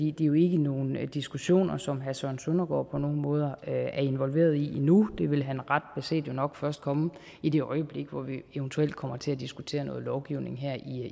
er jo ikke nogle diskussioner som herre søren søndergaard på nogen måde er involveret i endnu det vil han ret beset jo nok først komme i det øjeblik hvor vi eventuelt kommer til at diskutere noget lovgivning her